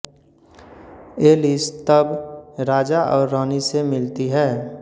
Alice तब राजा और रानी से मिलती है